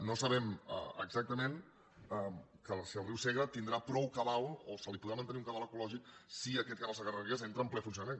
no sabem exactament si el riu segre tindrà prou cabal o se li podrà mantenir un cabal ecològic si aquest canal segarra garrigues entra en ple funcionament